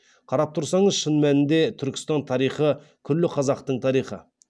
қарап тұрсаңыз шын мәнінде түркістан тарихы күллі қазақтың тарихы